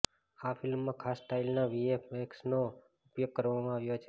આ ફિલ્મમાં ખાસ સ્ટાઇલના વીએફએક્સનો ઉપયોગ કરવામાં આવ્યો છે